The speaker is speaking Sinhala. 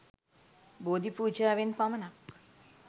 බෝධිපූජාවෙන් පමණක්